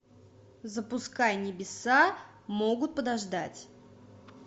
запускай небеса могут подождать